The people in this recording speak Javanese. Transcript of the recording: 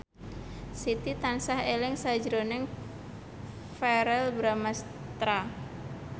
Siti tansah eling sakjroning Verrell Bramastra